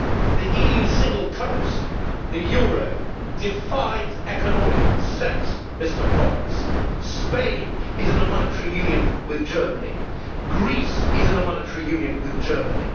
The EU single currency the euro defies economic sense, Mr Pons. Spain is in a monetary union with Germany. Greece is in a monetary union with Germany.